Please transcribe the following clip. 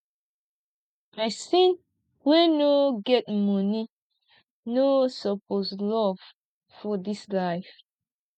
pesin wey no get moni no suppose love for dis life